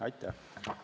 Aitäh!